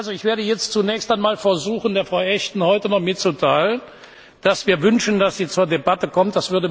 Ich werde jetzt zunächst einmal versuchen, Frau Ashton heute noch mitzuteilen, dass wir wünschen, dass sie zur Debatte kommt.